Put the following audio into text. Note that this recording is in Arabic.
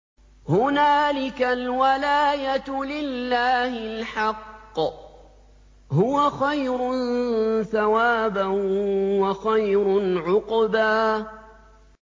هُنَالِكَ الْوَلَايَةُ لِلَّهِ الْحَقِّ ۚ هُوَ خَيْرٌ ثَوَابًا وَخَيْرٌ عُقْبًا